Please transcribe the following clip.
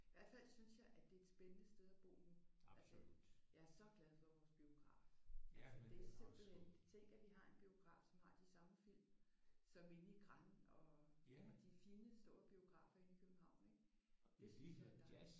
I hvert fald synes jeg at det er et spændende sted at bo nu. Altså jeg er så glad for vores biograf. Altså det er simpelthen tænk at vi har en biograf som har de samme film som inde i Grand og de fine store biografer inde i København ik? Det synes jeg er dejligt